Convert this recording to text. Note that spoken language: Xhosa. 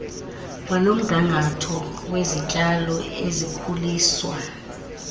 kwanomgangatho wezityalo ezikhuliswa